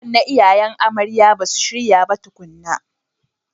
Anko na iyayen amarya basu shirya ba tukuna.